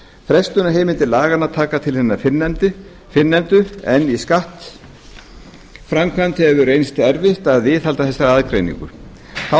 frestunarheimildir laganna taka til hinna fyrrnefndu en í skattframkvæmd hefur reynst erfitt að viðhalda þessari aðgreiningu þá